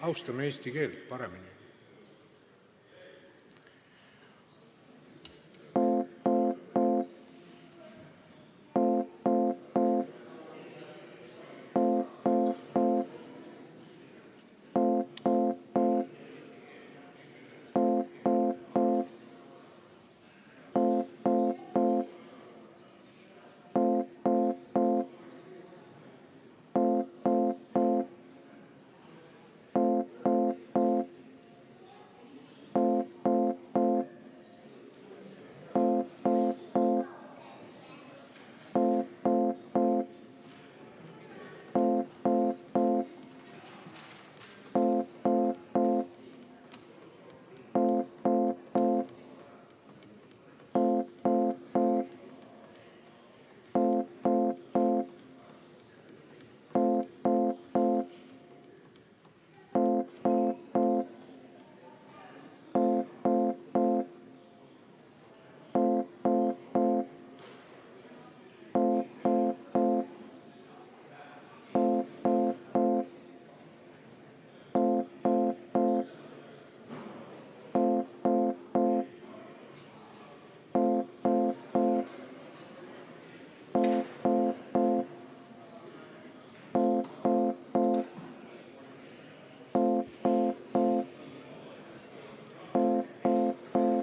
Austame eesti keelt paremini!